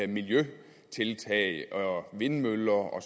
miljøtiltag og vindmøller og